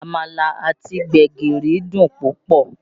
Àmàlà àti gbẹ̀gìrì dùn púpọ̀